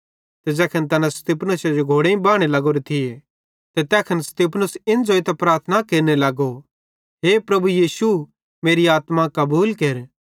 ते ज़ैखन तैना स्तिफनुसे जो घोड़ेईं बाने लग्गोरो थिये ते तै स्तिफनुस इन ज़ोइतां प्रार्थना केरने लगो हे प्रभु यीशु मेरी आत्मा कबूल केर